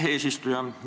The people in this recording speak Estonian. Hea eesistuja!